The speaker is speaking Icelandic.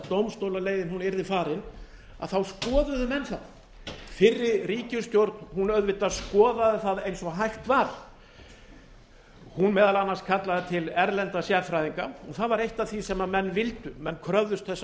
dómstólaleiðin yrði farin þá skoðuðu menn það fyrri ríkisstjórn auðvitað skoðaði það eins og hægt var hún meðal annars kallaði til erlenda sérfræðinga og það var eitt af því sem menn vildu menn kröfðust þess að